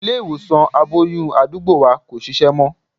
Ilé-ìwòsàn aboyún àdúgbò wa kò ṣiṣẹ́ mọ́.